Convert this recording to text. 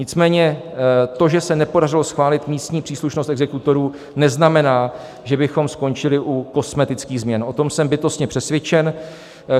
Nicméně to, že se nepodařilo schválit místní příslušnost exekutorů, neznamená, že bychom skončili u kosmetických změn, o tom jsem bytostně přesvědčen.